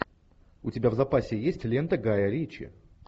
у тебя в запасе есть лента гая ричи